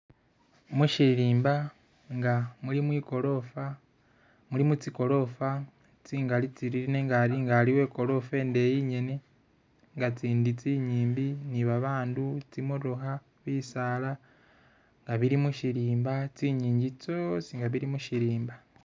Mushirimba nga mulimu igorofa, mulimu tsigorofa tsingali tsiriri nenga aliwo ekorofa indeyi ingene nga tsindi tsinyimbi ni babandu, tsimotookha, bisaala nga bili mushirimba, tsingingi tsyosi nga tsili mushirimba